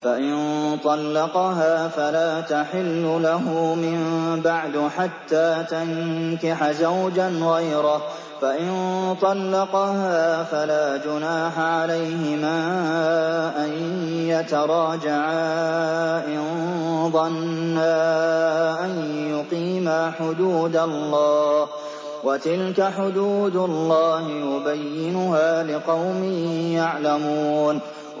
فَإِن طَلَّقَهَا فَلَا تَحِلُّ لَهُ مِن بَعْدُ حَتَّىٰ تَنكِحَ زَوْجًا غَيْرَهُ ۗ فَإِن طَلَّقَهَا فَلَا جُنَاحَ عَلَيْهِمَا أَن يَتَرَاجَعَا إِن ظَنَّا أَن يُقِيمَا حُدُودَ اللَّهِ ۗ وَتِلْكَ حُدُودُ اللَّهِ يُبَيِّنُهَا لِقَوْمٍ يَعْلَمُونَ